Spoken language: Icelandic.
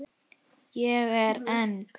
Ég er eng